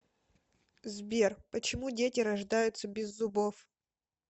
сбер почему дети рождаются без зубов